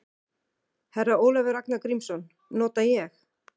Herra Ólafur Ragnar Grímsson: Nota ég?